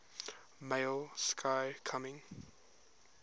male sky coming